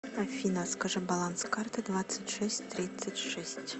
афина скажи баланс карты двадцать шесть тридцать шесть